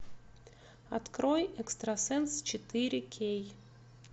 открой экстрасенс четыре кей